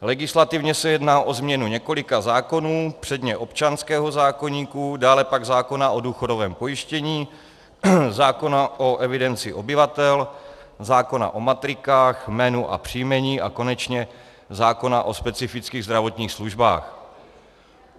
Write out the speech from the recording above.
Legislativně se jedná o změnu několika zákonů, předně občanského zákoníku, dále pak zákona o důchodovém pojištění, zákona o evidenci obyvatel, zákona o matrikách, jménu a příjmení a konečně zákona o specifických zdravotních službách.